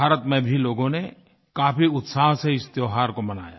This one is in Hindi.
भारत में भी लोगों ने काफी उत्साह से इस त्योहार को मनाया